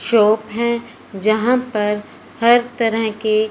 shop हैं जहां पर हर तरह की--